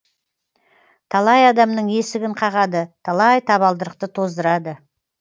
талай адамның есігін қағады талай табалдырықты тоздырады